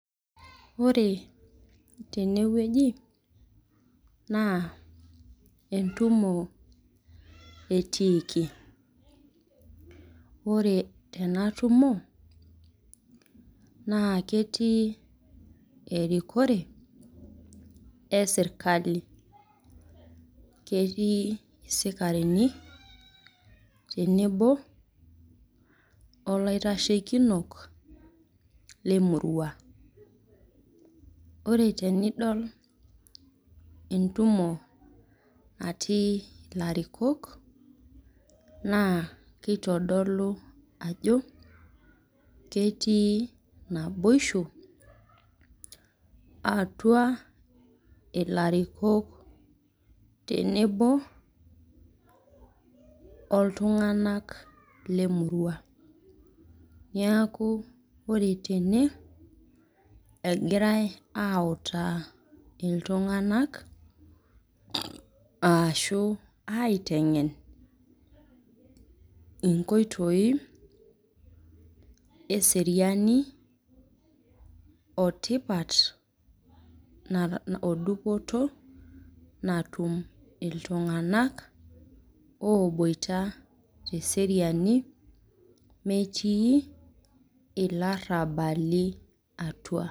Ore teneweji naa entumo atiiki. Ore tenatumo naa ketii erikore esirkali ,ketii sikarini tenebo olaitashekinok lemurua .Ore tenidol entumo natii larikok, naa kitodolu ajo ketii naboisho atua larikok tenebo oltunganak lemurua. Neeku ore teeeEgirae autaa iltunganak ashu aitengen nkoitoi eseriani otipat ,odupoto natum iltunganak oboita teseriani metii ilarabali atua.